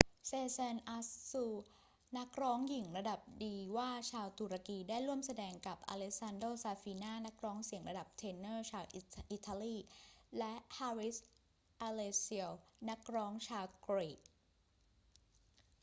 sezen aksu นักร้องหญิงระดับดีวาชาวตุรกี ได้แสดงร่วมกับ alessandro safina นักร้องเสียงระดับเทเนอร์ชาวอิตาลี และ haris alexiou นักร้องชาวกรีก